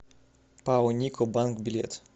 пао нико банк билет